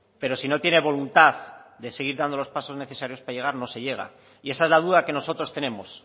pero si no tiene voluntad de seguir dando los pasos necesarios para llegar no se llega y esa es la duda que nosotros tenemos